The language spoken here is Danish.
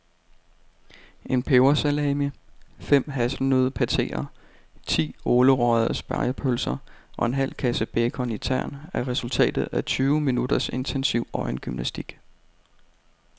En pebersalami, fem hasselnøddepateer, ti ålerøgede spegepølser og en halv kasse bacon i tern er resultatet af tyve minutters intensiv øjengymnastik.